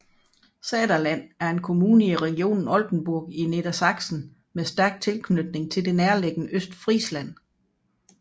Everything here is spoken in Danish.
Saterland er en kommune i regionen Oldenburg i Nedersaksen med stærk tilknytning til det nærliggende Østfrisland